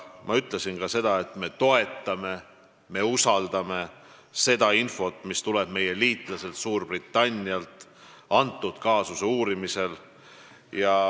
Ma ütlesin ka seda, et me toetame ja usaldame seda infot, mis tuleb meie liitlaselt Suurbritannialt selle kaasuse uurimisel.